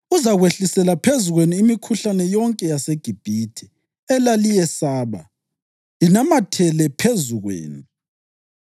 Uzakwehlisela phezu kwenu imikhuhlane yonke yaseGibhithe elaliyesaba, inamathele phezu kwenu.